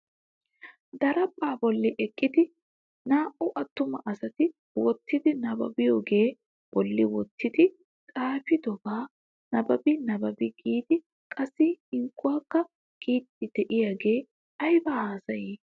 Daraphpha bolli eqqidi naa"u attuma asati wottidi nabbabiyooga bolli wottidi xaafetidaba nabbabi nabbabi giidi qassi hinkkuwakka giidi de'iyaagee aybba haassay?